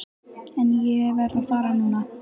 En ég verð að fara núna.